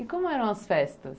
E como eram as festas?